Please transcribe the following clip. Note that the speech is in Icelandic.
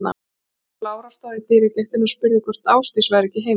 Frú Lára stóð í dyragættinni og spurði hvort Ásdís væri ekki heima.